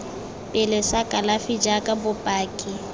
pele sa kalafi jaaka bopaki